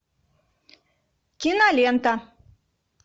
кинолента